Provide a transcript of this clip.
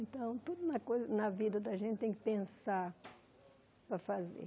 Então, tudo na coi na vida da gente tem que pensar para fazer.